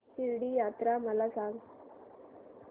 शिर्डी यात्रा मला सांग